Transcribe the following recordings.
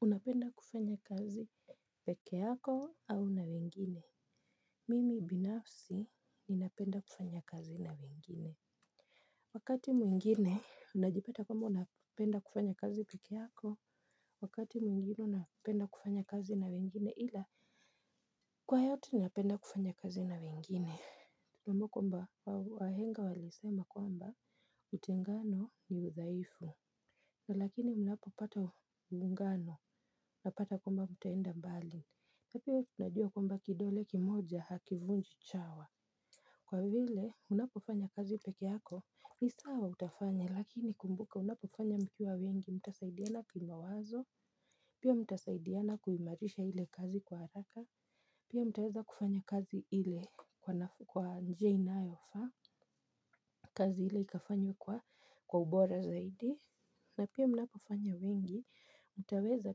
Unapenda kufanya kazi peke yako au na wengine. Mimi binafsi ninapenda kufanya kazi na wengine. Wakati mwingine unajipata kama unapenda kufanya kazi peke yako, wakati mwingine unapenda kufanya kazi na wengine ila kwa hiyo tu ninapenda kufanya kazi na wengine ama kwamba wahenga walisema kwamba utengano ni udhaifu na lakini unapopata mungano unapata kwamba mtaenda mbali. Na pia tunajua kwamba kidole kimoja hakivunji chawa. Kwa vile unapofanya kazi peke yako ni sawa utafanya lakini kumbuka unapofanya mkiwa wengi mtasaidiana kimawazo. Pia mtasaidiana kuimarisha hile kazi kwa haraka. Pia mtaweza kufanya kazi hile kwa njia inayofa. Kazi ile ikafanywa kwa ubora zaidi. Na pia mnapofanya wengi, mtaweza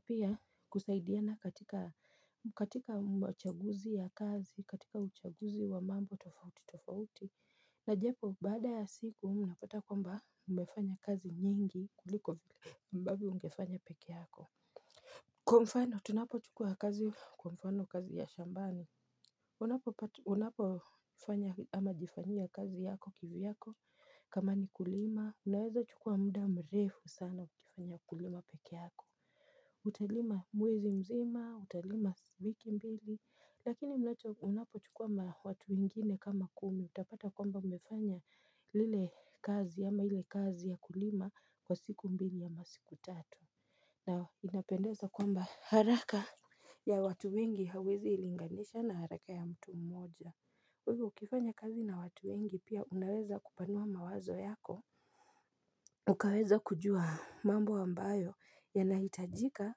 pia kusaidiana katika chaguzi ya kazi, katika uchaguzi wa mambo tofauti tofauti. Najapo, bada ya siku, mnapata kwamba mmefanya kazi nyingi kuliko vile ambapo ungefanya peke yako. Kwa mfano, tunapo chukua kazi kwa mfano kazi ya shambani. Unapo fanya ama jifanya kazi yako kiviyako kama ni kulima unaweza chukua muda mrefu sana ukifanya kulima peke yako. Utalima mwezi mzima, utalima wiki mbili lakini mnapo chukua watu wengine kama kumi utapata kwamba mmefanya lile kazi ama hile kazi ya kulima kwa siku mbili ama masiku tatu na inapendeza kwamba haraka ya watu wengi hawezi ilinganisha na haraka ya mtu mmoja ivyo ukifanya kazi na watu wengi pia unaweza kupanua mawazo yako. Ukaweza kujua mambo ambayo yanahitajika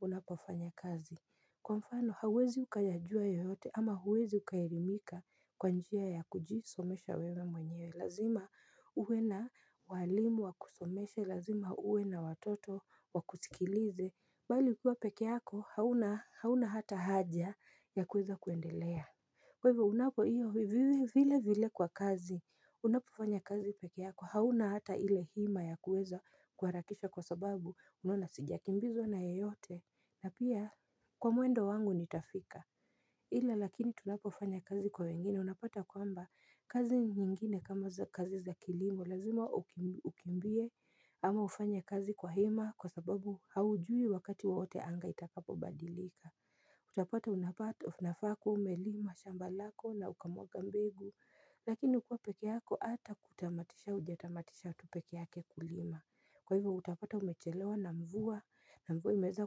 unapofanya kazi. Kwa mfano hauwezi ukajajua yoyote ama huwezi ukaelimika kwa njia ya kujisomesha wewe mwenye. Lazima uwe na walimu wa kusomeshe, lazima uwe na watoto wa kusikilize bali ukiwa peke yako hauna hata haja ya kuweza kuendelea. Kwa ivyo unapo iyo vile vile kwa kazi, unapofanya kazi peke yako hauna hata ile hima ya kuweza kuharakisha kwa sababu unaona sijakimbizwa na yeyote na pia kwa mwendo wangu nitafika. Hila lakini tunapofanya kazi kwa wengine unapata kwamba kazi nyingine kama kazi za kilimbo lazima ukimbie ama ufanya kazi kwa hima kwa sababu haujui wakati wowote anga itakapo badilika. Utapata unafaa kuwa umelima shamba lako na ukamwaga mbegu lakini kukuwa peke yako ata kutamatisha ujatamatisha tupeke yake kulima. Kwa hivyo utapata umechelewa na mvua na mvu imeweza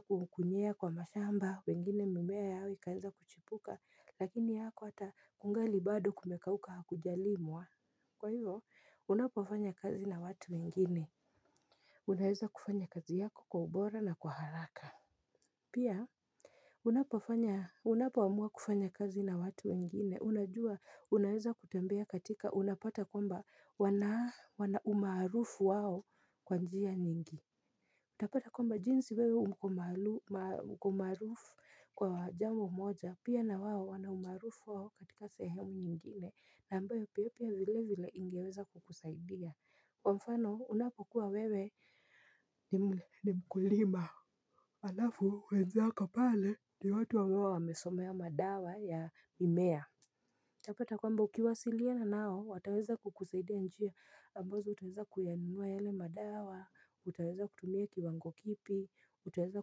kunyea kwa mashamba wengine mimea yao ikaenza kuchipuka lakini yako hata kungali bado kumekauka hakujalimwa. Kwa hivyo unapofanya kazi na watu wengine. Unaweza kufanya kazi yako kwa ubora na kwa haraka Pia Unapofanya unapo amua kufanya kazi na watu wengine unajua unaweza kutembea katika unapata kwamba wanaumarufu wao kwanjia nyingi. Utapata kwamba jinsi wewe uko marufu kwa jambo moja pia na wao wana umarufu wao katika sehemu nyingine na ambayo pia vile vile ingeweza kukusaidia kwa mfano unapokuwa wewe ni mkulima alafu wenzako pale ni watu huwa wamesomea madawa ya mimea. Tapata kwamba ukiwasiliana nao wataweza kukusaidia njia ambazo tunaweza kuyanunua yale madawa, utaweza kutumia kiwango kipi, utaweza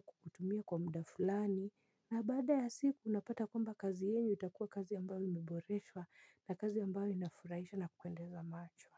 kutumia kwa mudafulani, na baada ya siku unapata kwamba kazi yenu itakuwa kazi ambayo imeboreswa na kazi ambayo inafurahisha na kupendeza macho.